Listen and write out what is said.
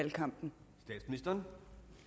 i gang med